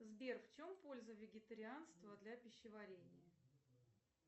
сбер в чем польза вегетарианства для пищеварения